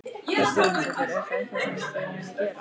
Hödd Vilhjálmsdóttir: Er það eitthvað sem að þið munuð gera?